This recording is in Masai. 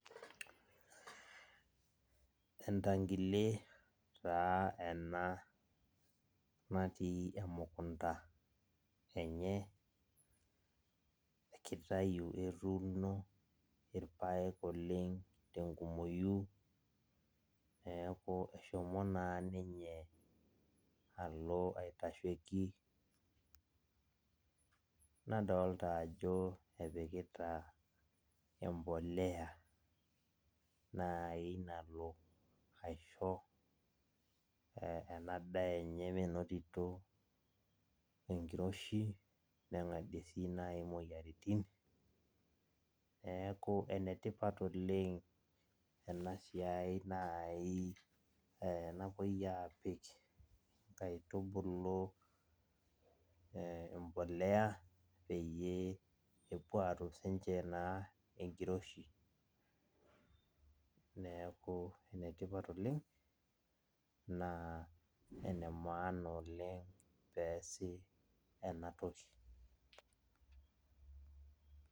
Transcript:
Entankile taa ena natii emukunda enye, kitayu etuuno irpaek okeng tenkumoyu. Neeku eshomo naa ninye alo aitasheki. Nadolta ajo epikita empolea nai nalo aisho ena daa enye minotito enkiroshi, neng'adie si nai imoyiaritin. Neeku enetipat oleng enasiai nai napoi apik inkaitubulu empolea, peyie epuo atum sinche naa enkiroshi. Neeku enetipat oleng, naa ene maana oleng peesi enatoki.